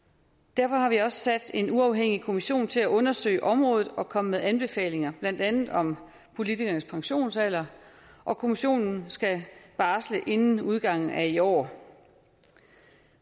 derfor har vi også sat en uafhængig kommission til at undersøge området og komme med anbefalinger blandt andet om politikernes pensionsalder og kommissionen skal barsle inden udgangen af i år